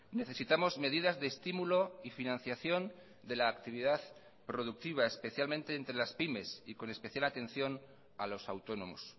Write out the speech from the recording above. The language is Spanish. necesitamos medidas de estímulo y financiación de la actividad productiva especialmente entre las pymes y con especial atención a los autónomos